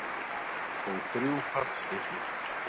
Og þrjú fallstykki.